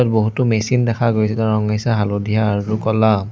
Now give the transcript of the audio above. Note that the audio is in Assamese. বহুতো মেচিন দেখা গৈছে তাৰ ৰং হৈছে হালধীয়া আৰু ক'লা।